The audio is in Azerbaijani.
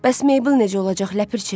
Bəs Meybel necə olacaq, Ləpirçi?